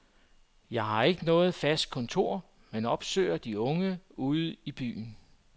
Jeg har ikke noget fast kontor, men opsøger de unge ude i byen.